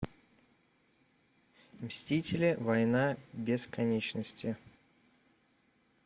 мстители война бесконечности